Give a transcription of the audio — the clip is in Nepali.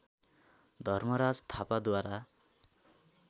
धर्मराज थापाद्वारा